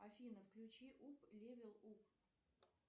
афина включи ук левел уп